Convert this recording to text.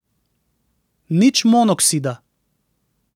Nič monoksida.